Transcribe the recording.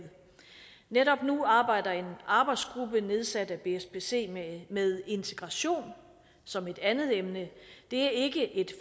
netop nu arbejder en arbejdsgruppe nedsat af bspc med integration som et andet emne det er ikke et